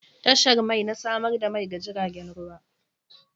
Tashar mai na samar da mai ga jiragen ruwa.